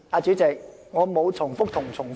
主席，我沒有重複又重複。